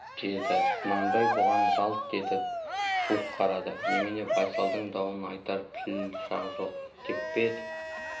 деді құнанбай бұған жалт етіп суық қарады немене байсалдың дауын айтар тіл жақ жоқ деп пе